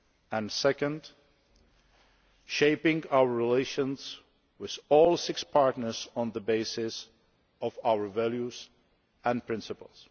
and second, shaping our relations with all six partners on the basis of our values and principles.